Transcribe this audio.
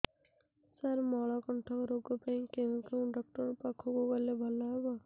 ସାର ମଳକଣ୍ଟକ ରୋଗ ପାଇଁ କେଉଁ ଡକ୍ଟର ପାଖକୁ ଗଲେ ଭଲ ହେବ